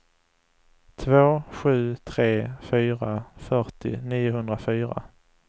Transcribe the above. två sju tre fyra fyrtio niohundrafyra